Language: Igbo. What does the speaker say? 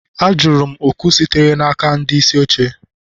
Ajụrụ m oku sitere n'aka ndị isi oche